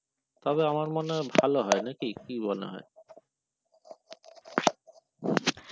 তবে আমার মনে হয় ভালো হয় নাকি কি মনে হয়?